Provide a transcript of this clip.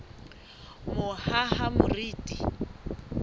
mohahamoriti